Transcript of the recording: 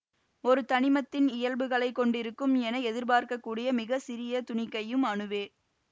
ஒரு தனிமத்தின் இயல்புகளை கொண்டிருக்கும் என எதிர்பார்க்கக்கூடிய மிக சிறிய துணிக்கையும் அணுவே